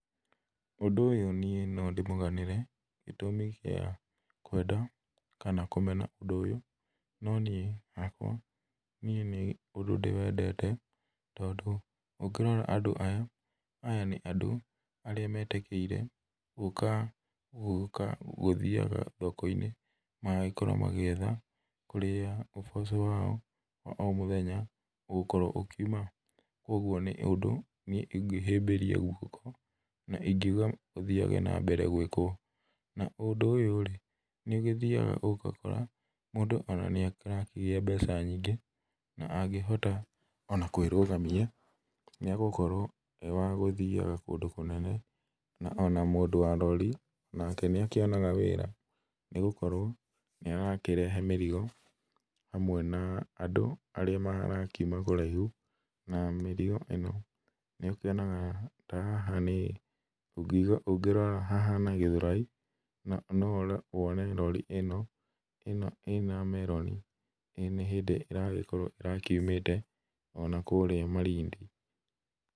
Ũndũ ũyũ niĩ no ndĩmuganĩre gĩtũmi kĩa kwenda kana kũmena ũndũ ũyũ, no niĩ hakwa nĩ ũndũ ndĩwendete tondũ ũngĩrora andũ aya, aya nĩ andũ arĩa metĩkĩire gũka gũka gũthiaga thokoinĩ magagĩkorwo magĩetha kũrĩa ũboco wao wa o mũthenya ũgũkorwo ũkiuma kũoguo nĩ ũndũ niĩ ingĩhĩmbĩria guoko na ingiuga ũthiage na mbere gwĩkwo. Na ũndũ ũyũ rĩ ni ũgĩthiaga ũgakora mũndũ ona nĩarakĩgĩa mbeca nyingĩ na angĩhota ona kwĩrũgamia nĩagũkorwo ewagũthiaga kũndũ kũnene. Na ona mũndũ wa rori nake nĩakĩonaga wĩra nĩgũkorwo nĩarakĩrehe mĩrigo hamwe na andũ arĩa marakiuma kũraihu na mĩrigo ĩno nĩũkĩonaga ta haha nĩ ũngirora hahana Gĩthurai no ũrore wone rori ĩno ĩna meroni na nĩ hĩndĩ ĩragĩkorwo ĩrakiumĩte ona kũria Malindi.